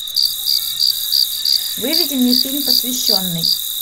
выведи мне фильм посвященный